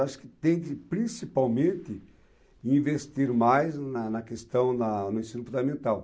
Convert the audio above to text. Acho que tem que principalmente investir mais na na questão da do ensino fundamental.